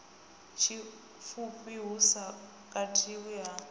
tshipfufhi hu sa katelwi ha